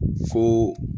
Fo